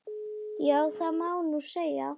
Já, það má nú segja.